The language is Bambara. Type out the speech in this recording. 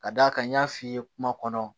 Ka d'a kan n y'a f'i ye kuma kɔnɔ